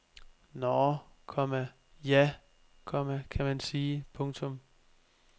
Nå, komma ja, komma kan man sige. punktum